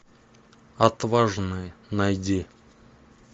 отважные найди